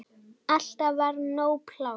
Alltaf var nóg pláss.